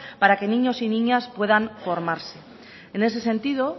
para que niños y niñas puedas formarse en ese sentido